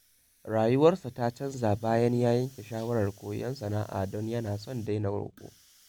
Rayuwarsa ta canza bayan ya yanke shawarar koyon sana’a don yana son daina roƙo.